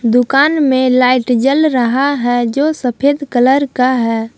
दुकान में लाइट जल रहा है जो सफेद कलर का है।